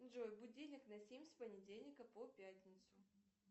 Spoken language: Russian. джой будильник на семь с понедельника по пятницу